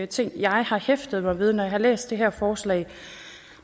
ting jeg har hæftet mig ved når jeg har læst det her forslag